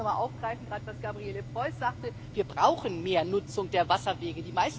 Ich möchte das nochmal aufgreifen, was Gabriele Preuß sagte Wir brauchen mehr Nutzung der Wasserwege.